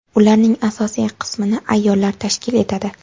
Ularning asosiy qismini ayollar tashkil etadi.